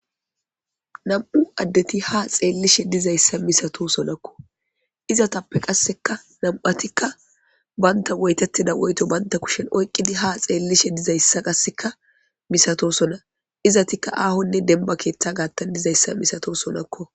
nam7u addeti ha xeellishe dizayssa misato sonakko izatappe qasseka nam7atikka banta woytettida woyto banta kushen oyqqidi ha xeellishe dizayssa qasseka misato sona izatikka aahonne denba keeththa gaattan dizayssa misato sonakko